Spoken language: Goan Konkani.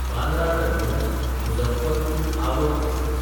बांद्रा टर्मिनस–मुझफ्फरपूर आवध एक्सप्रॅस